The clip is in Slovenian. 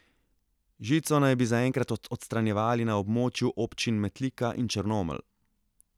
Žico naj bi zaenkrat odstranjevali na območju občin Metlika in Črnomelj.